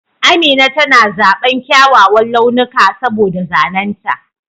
Amina tana zaɓan kyawawan launuka saboda zanen ta.